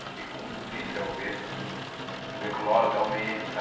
Eu fico muito triste ao ver que tuberculose aumenta,